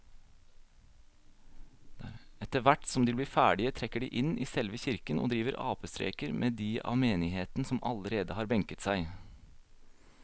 Etterthvert som de blir ferdige trekker de inn i selve kirken og driver apestreker med de av menigheten som allerede har benket seg.